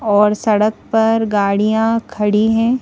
और सड़क पर गाड़ियां खड़ी हैं।